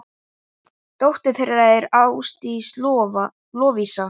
Dóttir þeirra er Ásdís Lovísa.